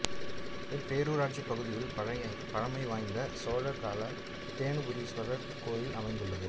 இப்பேருராட்சி பகுதியில் பழமை வாய்ந்த சோழர் கால தேனுபுரீசுவரர் கோயில் அமைந்துள்ளது